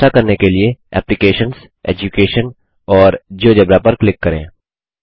ऐसा करने के लिए एप्लिकेशंस एड्यूकेशन और जियोजेब्रा पर क्लिक करें